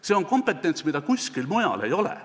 See on kompetents, mida kuskil mujal ei ole.